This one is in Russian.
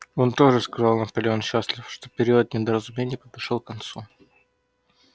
он тоже сказал наполеон счастлив что период недоразумений подошёл к концу